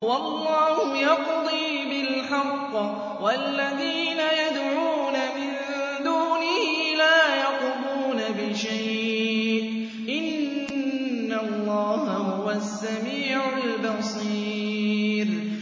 وَاللَّهُ يَقْضِي بِالْحَقِّ ۖ وَالَّذِينَ يَدْعُونَ مِن دُونِهِ لَا يَقْضُونَ بِشَيْءٍ ۗ إِنَّ اللَّهَ هُوَ السَّمِيعُ الْبَصِيرُ